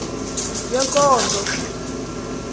yenkonzo